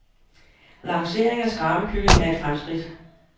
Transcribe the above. Lancering af skrabekylling er et fremskridt.